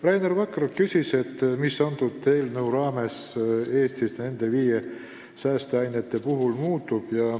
Rainer Vakra küsis, mis selle eelnõu kohaselt Eestis nende viie saasteaine osas muutub.